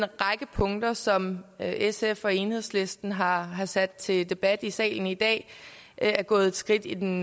punkter som sf og enhedslisten har har sat til debat i salen i dag er gået et skridt i den